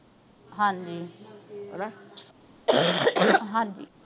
ਹਾਂਜੀ ਹਣਾ ਹਾਂਜੀ